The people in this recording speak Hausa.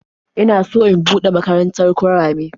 Ina so in buɗe makarantar kurame.